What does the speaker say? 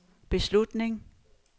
beslutning